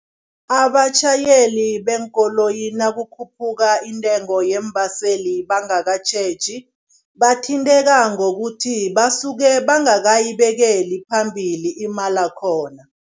Abatjhayeli beenkoloyi nakukhuphuka iintengo yeembaseli bangakatjheji, bathinteka ngokuthi basuke bangakayibekeli phambili imalakhona.